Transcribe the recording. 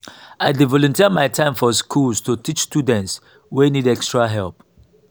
i dey volunteer my time for schools to teach students wey need extra help.